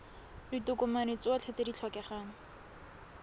ditokomane tsotlhe tse di tlhokegang